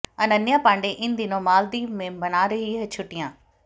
अनन्या पांडे इन दिनों मालदीव में मना रही हैं छुट्टियां